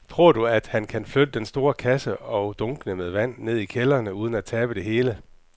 Tror du, at han kan flytte den store kasse og dunkene med vand ned i kælderen uden at tabe det hele?